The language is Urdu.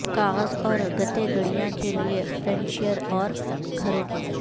کاغذ اور گتے گڑیا کے لئے فرنیچر اور گھروں